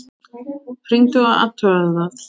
Hringdu og athugaðu það.